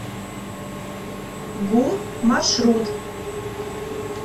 гум маршрут